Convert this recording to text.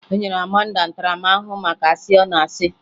E nyere Amanda ntaramaahụhụ maka asị ọ na-asị